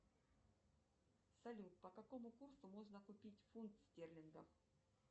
салют по какому курсу можно купить фунт стерлингов